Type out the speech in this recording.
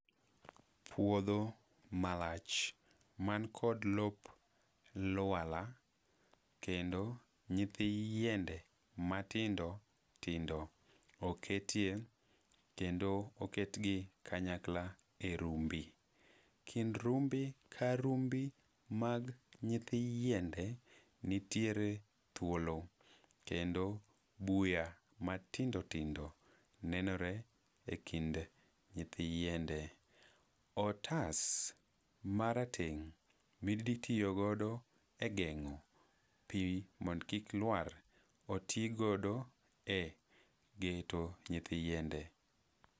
Puodho malach, mani kod lop lwala, kendo nyithi yiende matindo tindo oketie kendo oketgi kanyakla e rumbi. Kind rumbi ka rumbi mag nyithi yiende nitiere thuolo, kendo buya matindo tindo nenore e kind nyithi yiende. Otas marateng' miditiyogodo e geng'o pi mondo kik lwar oti godo e geto nyithi yiende.